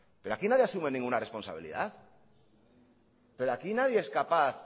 pero aquí nadie asume ninguna responsabilidad pero aquí nadie es capaz